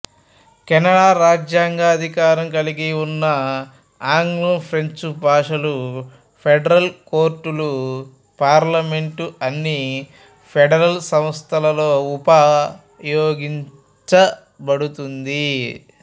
Canada రాజ్యాంగ అధికారం కలిగి ఉన్న ఆగ్లం ఫ్రెంచ్ భాషలు ఫెడరల్ కోర్టులు పార్లమెంటు అన్ని ఫెడరల్ సంస్థలలో ఉపయోగించబడుతుంది